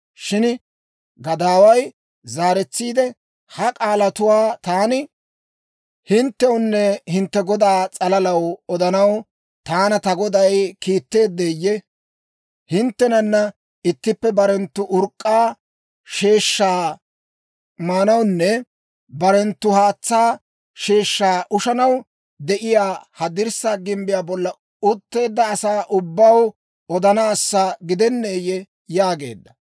Shin gadaaway zaaretsiide, «Ha k'aalatuwaa taani hinttewunne hintte godaa s'alalaw odanaw taana ta goday kiitteeddeeyye? Hinttenana ittippe barenttu urk'k'a sheeshaa maanawunne barenttu haatsaa sheeshshaa ushanaw de'iyaa, ha dirssaa gimbbiyaa bolla utteedda asaa ubbaw odanaassa gidenneeyye?» yaageedda.